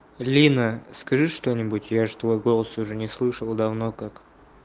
лина скажи что-нибудь я же твой голос уже не слышал давно как